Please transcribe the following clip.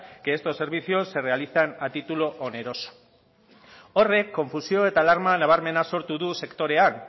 que estos servicios se realizan a titulo oneroso horrek konfusio eta alarma nabarmena sortu du sektorean